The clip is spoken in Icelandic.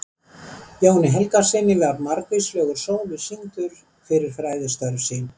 Jóni Helgasyni var margvíslegur sómi sýndur fyrir fræðistörf sín.